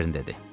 Kern dedi.